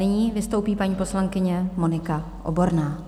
Nyní vystoupí paní poslankyně Monika Oborná.